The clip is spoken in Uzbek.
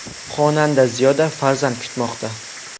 Xonanda Ziyoda farzand kutmoqda.